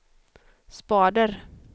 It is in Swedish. spader